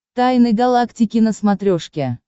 тайны галактики на смотрешке